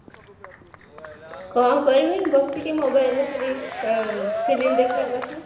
କଣ କରିବି ବସିକି mobile ରେ ଖାଲି film ଦେଖିବା କଥା